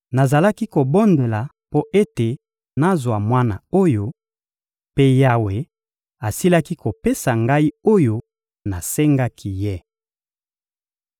Nazalaki kobondela mpo ete nazwa mwana oyo, mpe Yawe asilaki kopesa ngai oyo nasengaki Ye.